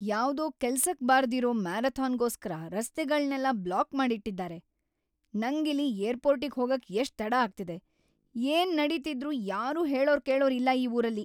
ಯಾವ್ದೋ ಕೆಲ್ಸಕ್‌ ಬಾರ್ದಿರೋ ಮ್ಯಾರಥಾನ್‌ಗೋಸ್ಕರ ರಸ್ತೆಗಳ್ನೆಲ್ಲ ಬ್ಲಾಕ್‌ ಮಾಡಿಟ್ಟಿದಾರೆ, ನಂಗಿಲ್ಲಿ ಏರ್ಪೋರ್ಟಿಗ್‌ ಹೋಗಕ್ಕೆ ಎಷ್ಟ್ ತಡ ಆಗ್ತಿದೆ, ಏನ್‌ ನಡೀತಿದ್ರೂ ಯಾರೂ ಹೇಳೋರ್‌ ಕೇಳೋರ್‌ ಇಲ್ಲ ಈ ಊರಲ್ಲಿ.